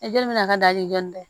bɛna ka daji dɔɔni dɛ